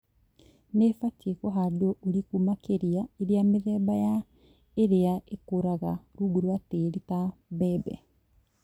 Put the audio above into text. nĩibatie kũhandwo ũrĩkũ makĩria iria mĩthemba ya ĩrĩa ĩkũraga rungu rwa tĩri ta mbembe